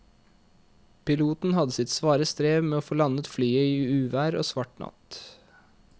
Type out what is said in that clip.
Piloten hadde sitt svare strev med å få landet flyet i uvær og svart natt.